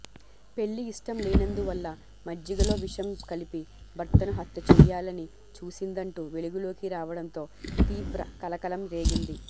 పెళ్లి ఇష్టం లేనందువల్ల మజ్జిగలో విషం కలిపి భర్తను హత్య చెయ్యాలని చూసిందంటూ వెలుగులోకి రావడంతో తీవ్ర కలకలం రేగింది